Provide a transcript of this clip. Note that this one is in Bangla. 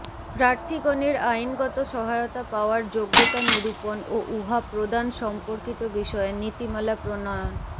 প্রার্থীগণের আইনগত সহায়তা পাওয়ার যোগ্যতা নিরুপন ও উহা প্রদান সম্পর্কিত বিষয়ে নীতিমালা প্রণয়ন